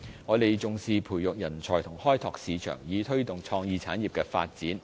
我們重視培育人才和開拓市場，以推動創意產業的發展。